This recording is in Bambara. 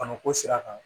Bana ko sira kan